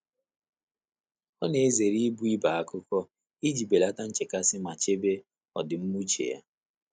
Ọ́ nà-èzéré íbù íbé ákụ́kọ́ ìjí bèlàtà nchékàsị́ mà chébé ọ́dị́mmá úchè yá.